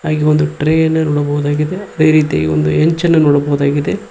ಹಾಗೆ ಒಂದು ಟ್ರೇ ಅನ್ನು ನೋಡಬಹುದಾಗಿದೆ ಅದೇರೀತಿಯಾಗಿ ಒಂದು ಯೆಂಚ್ ಅನ್ನು ನೋಡಬಹುದಾಗಿದೆ.